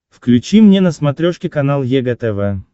включи мне на смотрешке канал егэ тв